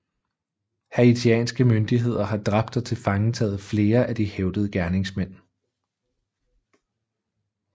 Haitianske myndigheder har dræbt og tilfangetaget flere af de hævdede gerningsmænd